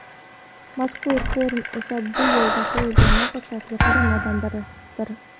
Mazkur forum esa bu yo‘lda qo‘yilgan muvaffaqiyatli qadamlardan biridir.